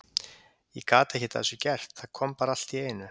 Ég gat ekkert að þessu gert, það kom bara allt í einu.